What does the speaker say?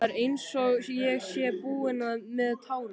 Það er einsog ég sé búin með tárin.